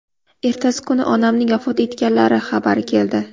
Ertasi kuni onamning vafot etganlari xabari keldi.